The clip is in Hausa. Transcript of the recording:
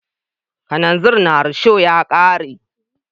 Kananzir na risho ya ka re.